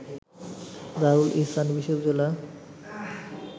দারুল ইহসান বিশ্ববিদ্যালয়